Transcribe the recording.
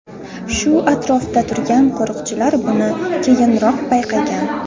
Shu atrofda turgan qo‘riqchilar buni keyinroq payqagan.